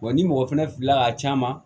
Wa ni mɔgɔ fɛnɛ filila ka c'a ma